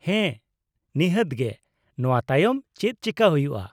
-ᱦᱮᱸ ᱱᱤᱦᱟᱹᱛ ᱜᱮ ᱾ ᱱᱚᱶᱟ ᱛᱟᱭᱚᱢ ᱪᱮᱫ ᱪᱤᱠᱟᱹ ᱦᱩᱭᱩᱜᱼᱟ ?